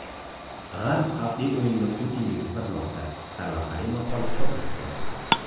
G‘arb xavfli o‘yinda Putinga yutqazmoqda” sarlavhali maqola chop etdi.